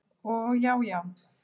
Og já já.